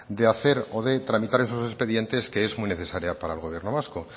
de hacer o de tramitar esos expedientes que es muy necesaria para el gobierno vasco